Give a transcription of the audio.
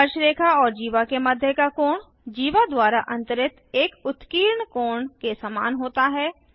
स्पर्शरेखा और जीवा के मध्य का कोण जीवा द्वारा अंतरित एक उत्कीर्ण कोण के समान होता है